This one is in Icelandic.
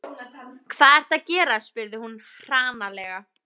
Hvað ertu að gera? spurði hún hranalega.